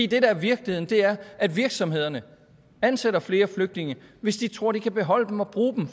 det der er virkeligheden er at virksomhederne ansætter flere flygtninge hvis de tror de kan beholde dem og bruge dem